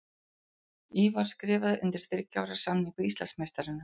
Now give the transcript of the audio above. Ívar skrifaði undir þriggja ára samning við Íslandsmeistarana.